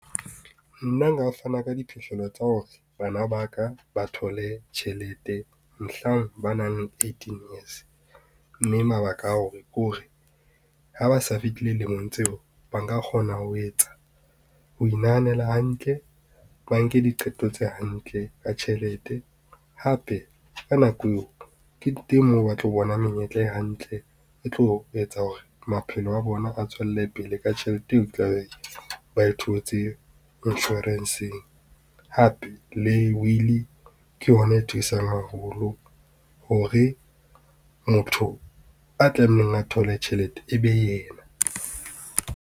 Nna nka fana ka diphihlello tsa hore bana ba ka ba thole tjhelete mohlang ba nang le eighteen years, mme mabaka a o ke hore ha ba sa fetile lemong tseo ba nka kgona ho inahanela hantle, ba nke diqeto tse hantle ka tjhelete. Hape ka nako eo ke teng moo ba tlo bona menyetla e hantle e tlo etsa hore maphelo a bona a tswele pele ka tjhelete eo tlabe ba e thotse insurance-eng. Hape le will ke yona e thusang haholo hore motho a tlamehileng a thole tjhelete e be yena.